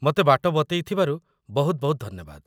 ମତେ ବାଟ ବତେଇଥିବାରୁ ବହୁତ ବହୁତ ଧନ୍ୟବାଦ ।